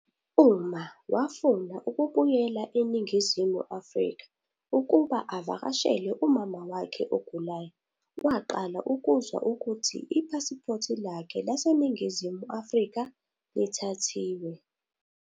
Uma wafuna ukubuyela eNingizimu Afrika ukuba avakashele umama wakhe ogulayo, waqala ukuzwa ukuthi ipasipoti lakhe laseNingizimu Afrika lithathiwe.